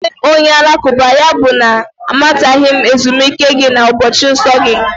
Abụghị m onye Alakụba, yabụ na m amataghị ezumike gị na ụbọchị nsọ gị